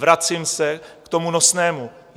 Vracím se k tomu nosnému.